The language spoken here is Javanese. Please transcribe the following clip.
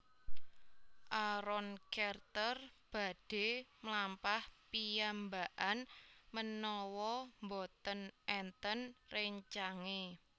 Aaron Carter badhe mlampah piyambakan menawa mboten enten rencange